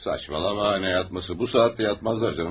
Saçmalama, nə yatması, bu saatda yatmazlar canım.